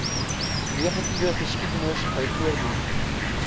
negatiewe geskiedenis byvoorbeeld